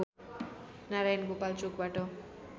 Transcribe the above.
नारायणगोपाल चोकबाट